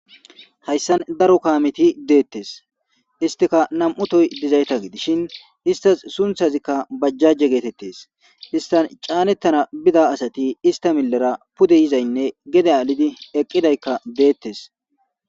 Hayssan daro kaameti dettes istika nam7u tohoy dizayta gidishin istasika sunththayka bajjaje getetes.istani canetana bida asati ista milers pude yizaynne gede alid eqidayti detesi.